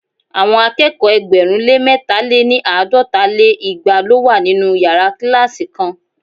Àwọn akẹ́kọ̀ọ́ ẹgbẹ̀rún lé mẹ̀ta- lé ní àádọ́ta lé igba lo wa ninu yara kilasi kan